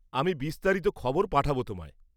আমি বিস্তারিত খবর পাঠাব তোমায়।